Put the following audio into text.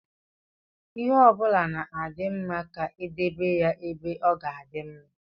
Ihe ọbụla na-adị mma ka e edebe ya ebe ọ ga-adị mma.